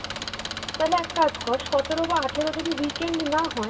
তাহলে এক কাজ কর সতেরো বা আঠেরো যদি weekend না হয়